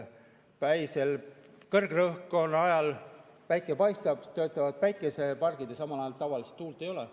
Kõrgrõhkkonna ajal päike paistab, töötavad päikesepargid, aga samal ajal tavaliselt tuult ei ole.